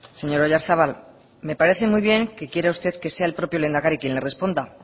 señor oyarzabal me parece muy bien que quiera usted que sea el propio lehendakari quien le responde